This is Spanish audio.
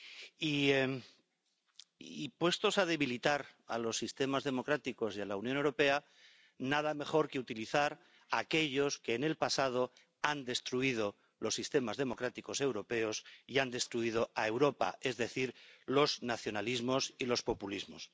Y, puestos a debilitar los sistemas democráticos y a la Unión Europea, nada mejor que utilizar a aquellos que en el pasado han destruido los sistemas democráticos europeos y han destruido a Europa, es decir, los nacionalismos y los populismos.